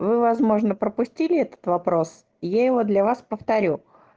вы возможно пропустили этот вопрос я его для вас повторю